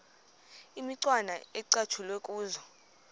imicwana ecatshulwe kuzo